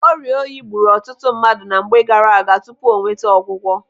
Oriọ oyi gburu ọtụtụ mmadụ na mgbe gaaraaga tupu o nweta ọgwụgwọ.